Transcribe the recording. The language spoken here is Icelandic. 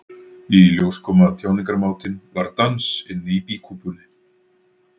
Í ljós kom að tjáningarmátinn var dans inni í býkúpunni.